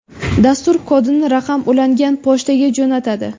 Dastur kodni raqam ulangan pochtaga jo‘natadi.